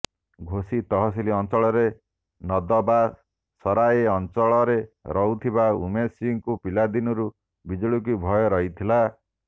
ଘୋସି ତହସିଲ ଅଞ୍ଚଳର ନଦବାସରାଏ ଅଞ୍ଚଳରେ ରହୁଥିବା ଉମେଶ ସିଂହଙ୍କୁ ପିଲାଦିନରୁ ବିଜୁଳିକୁ ଭୟ ରହିଥିଲା